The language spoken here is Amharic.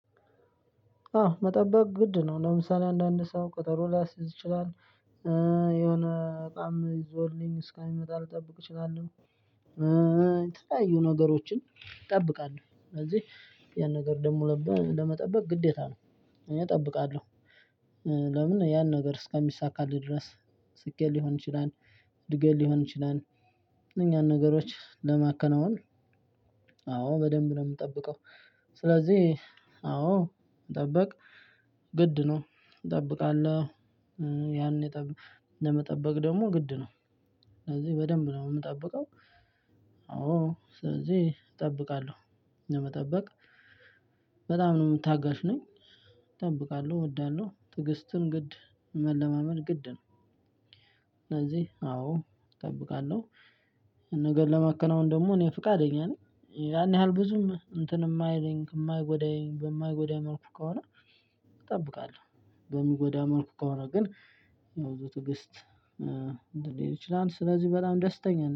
አው መጠበቅ ግድ ነው። ለምሳሌ አንዳንድ ሰው ቀጠሮ ሊያስይዝ ይችላል፣ የሆነ እቃም ይዞልኝ እስከሚመጣም ልጠብቅ እችላለው፣ የተለያዩ ነገሮችን እጠብቃለሁ። ስለዚህ ያን ነገር ደግሞ ለመጠበቅ ግዴታ ነው እኔ እጠብቃለው። ለምን? ያን ነገር እስከሚሳካልህ ድረስ ስኬት ሊሆን ይችላል፣ እድገት ሊሆን ይችላል እነኛን ነገሮች ለማከናወን፣ አዎ በደንብ ነው የምጠብቀው። ስለዚህ አዎ መጠበቅ ግድ ነው። እጠብቃለሁ ያኔ ለመጠበቅ ደግሞ ግድ ነው፤ ስለዚህ በደንብ ነው የምጠብቀው። አዎ ስለዚህ እጠብቃለሁ። ለመጠበቅ በጣሙን ታጋሽ ነኝ። እጠብቃለው እወዳለው፣ ትዕግስትም ግድ መለማመድ ግድ ነው። ስለዚህ አዎ እጠብቃለው። አንድ ነገር ለማከናወን ደግሞ እኔ ፈቃደኛ ነኝ ያን ያህል ብዙም እንትን የማይለኝ የማይጎዳኝ በማይጎዳኝ መልኩ ከሆነ፣ እጠብቃለው። በሚጎዳኝ መልኩ ከሆነ ግን፣ ያው በትዕግስት ሊሄድ ይችላል። ስለዚህ በጣም ደስተኛ ነኝ